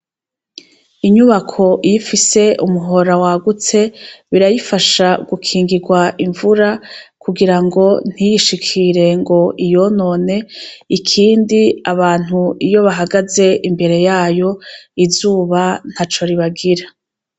Inyubako yifise umuhora wa gutse birayifasha gukingirwa imvura kugira ngo ntiyishikire ngo iyonone ikindi abantu iyo bahagaze imbere yayo izuba nta co ribagira.